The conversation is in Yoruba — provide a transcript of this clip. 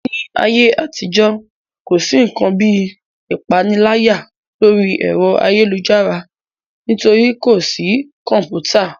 Ní ayé àtijọ́, kò sí ǹkan bíi ìpániláyà lórí ẹ̀rọ ayélujára nítorí pé kò sí kọ̀mpútà